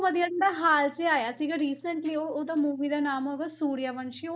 ਹਾਲ 'ਚ ਆਇਆ ਸੀਗਾ recently ਉਹਦਾ movie ਦਾ ਨਾਮ ਹੈਗਾ ਸੂਰੀਆ ਵੰਸ਼ੀ ਉਹ,